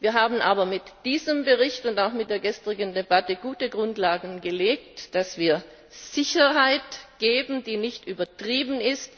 wir haben aber mit diesem Bericht und auch mit der gestrigen Debatte gute Grundlagen dafür gelegt, dass wir Sicherheit geben, die nicht übertrieben ist.